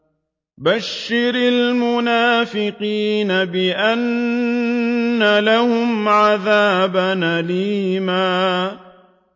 بَشِّرِ الْمُنَافِقِينَ بِأَنَّ لَهُمْ عَذَابًا أَلِيمًا